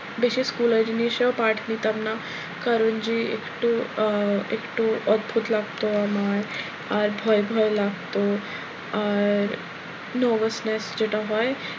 বেশি school এর জিনিসেও part নিতাম না কারণ যে একটু আহ একটু অদ্ভুত লাগতো আমার আর ভয় ভয় লাগতো আর আমি nervousness যেটা হয়,